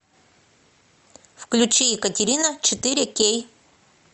включи екатерина четыре кей